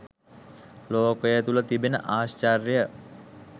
ලෝකය තුළ තිබෙන ආශ්චර්ය